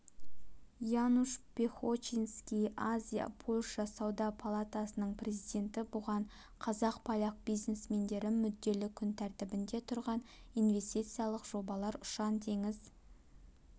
януш пехочиньский азия-польша сауда палатасының президенті бұған қазақ-поляк бизнесмендері мүдделі күн тәртібінде тұрған инвестициялық жобалар ұшан-теңіз